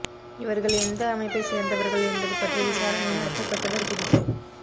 இவர்கள் எந்த அமைப்பை சேர்ந்தவர்கள் என்பது பற்றி விசாரணை நடத்தப்பட்டு வருகிறது